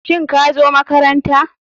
Shin kazo makaranta.